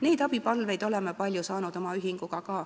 Neid abipalveid oleme palju saanud ka oma ühingus.